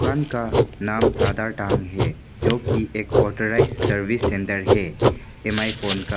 दुकान का नाम टाडा टांग है जो कि एक ऑथराइज्ड सर्विस सेंटर है एम_आई फोन का।